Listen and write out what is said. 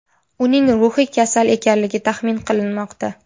Uning ruhiy kasal ekanligi taxmin qilinmoqda.